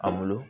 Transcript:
An bolo